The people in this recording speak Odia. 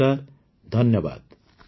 ନମସ୍କାର ଧନ୍ୟବାଦ